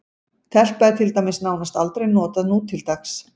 Telpa er til dæmis nánast aldrei notað nútildags.